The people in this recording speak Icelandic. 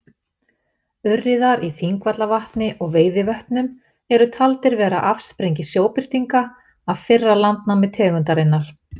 Urriðar í Þingvallavatni og Veiðivötnum eru taldir vera afsprengi sjóbirtinga af fyrra landnámi tegundarinnar.